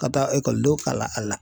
Ka taa ekɔlidenw kalan a la